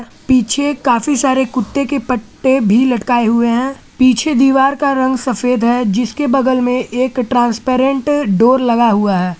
पीछे काफी सारे कुत्ते के पट्टे भी लटकाए हुए हैं पीछे दीवार का रंग सफेद है जिसके बगल में एक ट्रांसपेरेंट डोर लगा हुआ है।